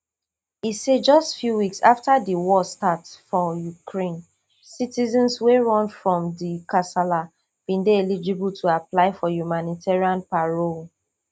e say just few weeks afta di war start for ukraine citizens wey run from di kasala bin dey eligible to apply for humanitarian parole